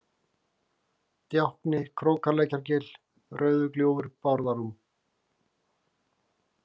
Djákni, Krókalækjargil, Rauðugljúfur, Bárðarrúm